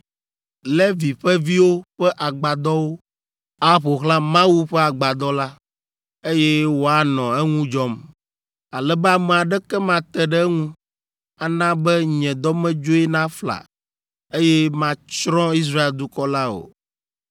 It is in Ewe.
Levi ƒe viwo ƒe agbadɔwo aƒo xlã Mawu ƒe Agbadɔ la, eye woanɔ eŋu dzɔm, ale be ame aɖeke mate ɖe eŋu, ana be nye dɔmedzoe nafla, eye matsrɔ̃ Israel dukɔ la o.”